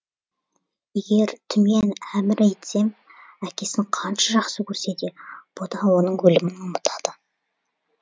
егер түмен әмірі етсем әкесін қанша жақсы көрсе де бұ да оның өлімін ұмытады